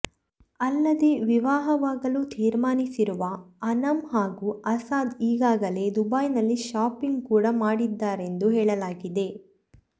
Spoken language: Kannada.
ಅಲ್ಲದೆ ವಿವಾಹವಾಗಲು ತೀರ್ಮಾನಿಸಿರುವ ಆನಮ್ ಹಾಗೂ ಅಸಾದ್ ಈಗಾಗಲೇ ದುಬೈನಲ್ಲಿ ಶಾಪಿಂಗ್ ಕೂಡಾ ಮಾಡಿದ್ದಾರೆಂದು ಹೇಳಲಾಗಿದೆ